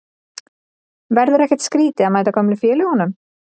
Verður ekkert skrítið að mæta gömlu félögunum?